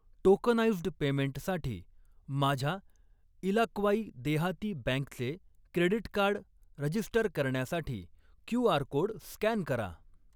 Tokenised पेमेंटसाठी माझ्या इलाक्वाई देहाती बँकचे क्रेडीट कार्ड रजीस्टर करण्यासाठी क्यू.आर. कोड स्कॅन करा.